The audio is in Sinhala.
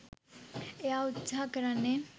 එයා උත්සහ කරන්නෙ